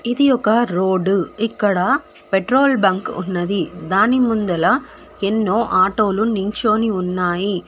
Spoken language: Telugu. ఇది ఒక రోడ్ ఇక్కడ పెట్రోల్ బంక్ ఉన్నది దాని ముందల ఎన్నో ఆటోలు నించొని ఉన్నాయి.